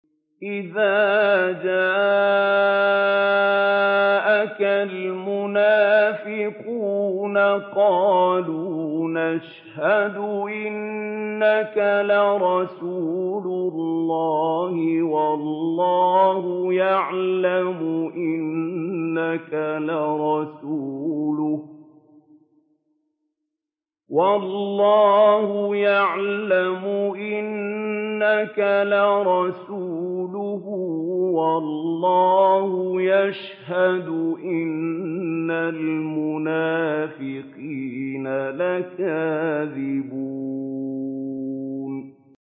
إِذَا جَاءَكَ الْمُنَافِقُونَ قَالُوا نَشْهَدُ إِنَّكَ لَرَسُولُ اللَّهِ ۗ وَاللَّهُ يَعْلَمُ إِنَّكَ لَرَسُولُهُ وَاللَّهُ يَشْهَدُ إِنَّ الْمُنَافِقِينَ لَكَاذِبُونَ